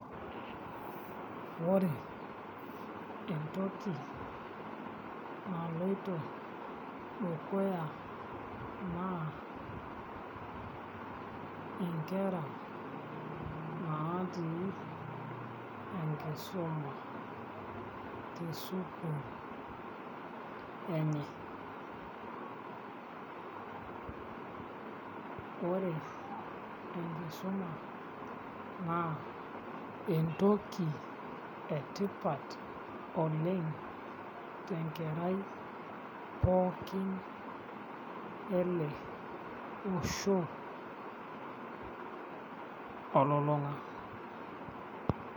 Ore entoki naloito dukuya naa nkera naatii enkisuma tesukuul enye ore enkisuma naa entoki etipat oleng' tenkerai pookin ele osho olulung'a.